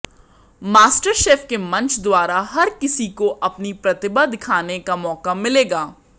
master chef के मंच द्वारा हर किसी को अपनी प्रतिभा दिखाने का मौका मिलेगा